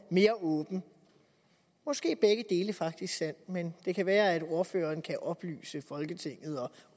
mere åben måske er begge dele faktisk sandt men det kan være at ordføreren kan oplyse folketinget og